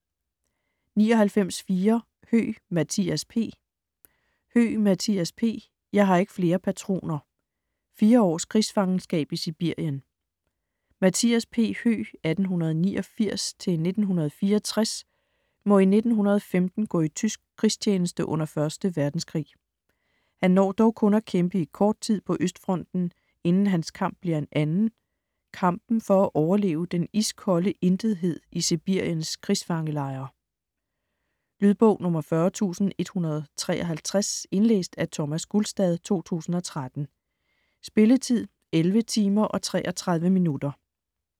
99.4 Høeg, Mathias P. Høeg, Mathias P.: Jeg har ikke flere patroner: fire års krigsfangenskab i Sibirien Mathias P. Høeg (1889-1964) må i 1915 gå i tysk krigstjeneste under 1. Verdenskrig. Han når dog kun at kæmpe i kort tid på Østfronten, inden hans kamp bliver en anden: kampen for at overleve den iskolde intethed i Sibiriens krigsfangelejre. Lydbog 40153 Indlæst af Thomas Gulstad, 2013. Spilletid: 11 timer, 33 minutter.